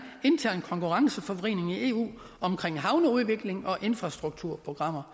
intern konkurrenceforvridning i eu omkring havneudvikling og infrastrukturprogrammer